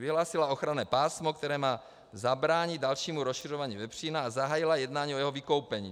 Vyhlásila ochranné pásmo, které má zabránit dalšímu rozšiřování vepřína, a zahájila jednání o jeho vykoupení.